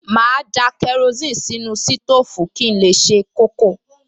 Màá da kerosíìnì sínú sítóòfù kí n lè se kókò